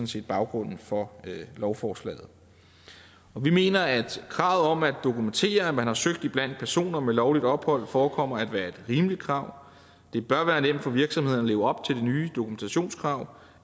set baggrunden for lovforslaget vi mener at kravet om at dokumentere at man har søgt iblandt personer med lovligt ophold forekommer at være et rimeligt krav det bør være nemt for virksomhederne at leve op til de nye dokumentationskrav